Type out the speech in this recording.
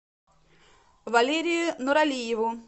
валерию нуралиеву